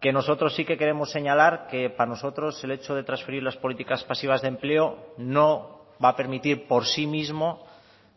que nosotros sí que queremos señalar que para nosotros el hecho de transferir las políticas pasivas de empleo no va a permitir por sí mismo